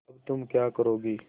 अब तुम क्या करोगी